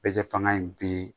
Bɛɛ fanga in bi